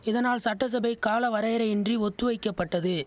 இதனால் சட்டசபை காலவரையரையின்றி ஒத்து வைக்கப்பட்டது